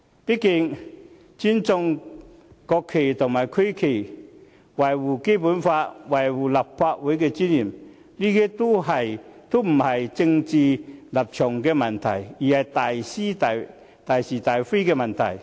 畢竟，尊重國旗和區旗、擁護《基本法》、維護立法會尊嚴，這些都不是政治立場的問題，而是大是大非的問題。